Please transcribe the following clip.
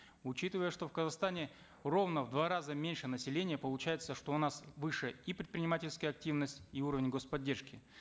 учитывая что в казахстане ровно в два раза меньше населения получается что у нас выше и предпринимательская активность и уровень господдержки